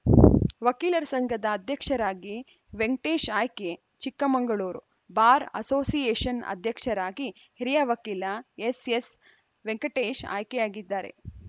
ವಕೀಲರ ಸಂಘದ ಅಧ್ಯಕ್ಷರಾಗಿ ವೆಂಕಟೇಶ್‌ ಆಯ್ಕೆ ಚಿಕ್ಕ ಮಂಗಳೂರು ಬಾರ್‌ ಅಸೋಸಿಯೇಷನ್‌ ಅಧ್ಯಕ್ಷರಾಗಿ ಹಿರಿಯ ವಕೀಲ ಎಸ್‌ಎಸ್‌ವೆಂಕಟೇಶ್‌ ಆಯ್ಕೆಯಾಗಿದ್ದಾರೆ